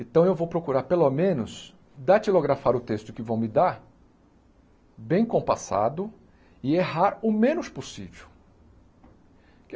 Então eu vou procurar pelo menos datilografar o texto que vão me dar, bem compassado, e errar o menos possível.